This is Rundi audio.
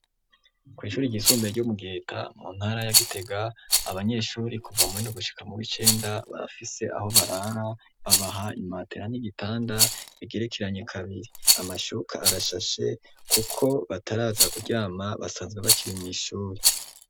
Kw'Ishuri ry'isumbeye ryo mugiheta, mu ntara ya gitega, Abanyeshuri kuva muwindwi no gushika mu wicenda, barafise aho barara, babaha imatera n'igitanda, bigerekeranye kabiri. Amashuka arashashe, kuko bataraza kuryama, basanzwe bakiri mw' Ishuri.